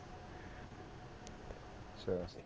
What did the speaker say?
ਅੱਛਾ